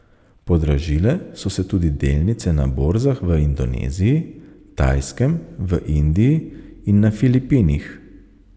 Podražile so se tudi delnice na borzah v Indoneziji, Tajskem, v Indiji in na Filipinih.